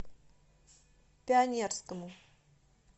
пионерскому